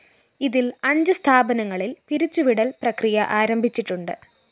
ഇതില്‍ അഞ്ച് സ്ഥാപനങ്ങളില്‍ പിരിച്ചുവിടല്‍ പ്രക്രിയ ആരംഭിച്ചിട്ടുണ്ട്